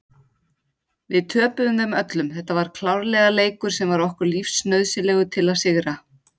Við töpuðum þeim öllum, þetta var klárlega leikur sem var okkur lífsnauðsynlegur að sigra.